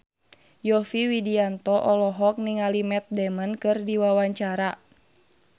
Yovie Widianto olohok ningali Matt Damon keur diwawancara